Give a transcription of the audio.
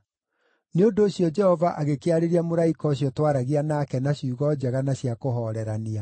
Nĩ ũndũ ũcio Jehova agĩkĩarĩria mũraika ũcio twaragia nake na ciugo njega na cia kũhoorerania.